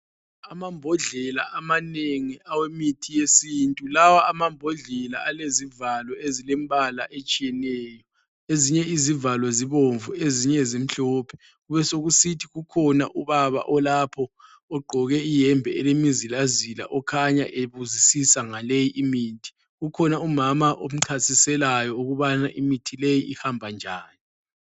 Amambodlela amanengi awemithi yesintu lawa ama mbodlela alezivalo ezilembala etshiyeneyo ezinye izivalo zibomvu ezinye zimhlophe kubesokusithi ukhona ubaba olapho ogqoke iyembe elemizila zila okhanya ebuzisisa ngaleyi imithi, ukhona umama omchasiselayo ukubana imithi leyi ihamba njani.